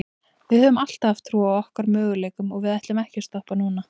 Við höfum alltaf haft trú á okkar möguleikum og við ætlum ekki að stoppa núna.